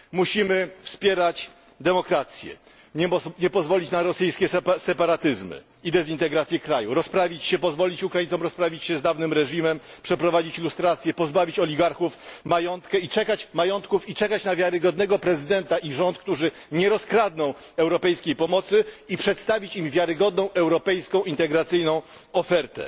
Musimy wspierać demokrację, nie pozwolić na rosyjskie separatyzmy i dezintegrację kraju, musimy pozwolić Ukraińcom rozprawić się z dawnym reżimem, przeprowadzić lustrację, pozbawić oligarchów majątków i czekać na wiarygodnego prezydenta i rząd, którzy nie rozkradną europejskiej pomocy, i przedstawić im wiarygodną europejską integracyjną ofertę.